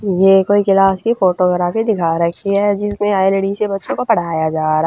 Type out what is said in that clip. ये कोई क्लास की फोटोग्राफी दिखा रखी ह जिसमें आई_ले_टी_एस के बच्चों को पढ़ाया जा रहा --